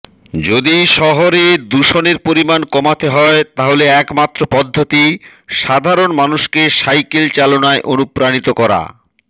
যদি শহরে দূষণের পরিমান কমাতে হয় তাহলে একমাত্র পদ্ধতি সাধারণ মানুষকে সাইকেল চালানোয় অনুপ্রাণিত করা